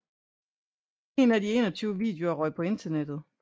En af de 21 videoer røg på Internettet